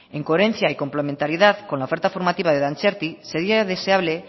en coherencia y complementariedad con la oferta formativa de dantzerti sería deseable